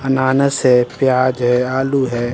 अनानस है प्याज है आलू है--